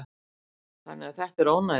Þannig að þetta er ónæði.